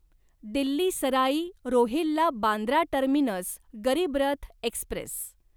Delhi Sarai Rohilla Bandra terminus Garib Rath Express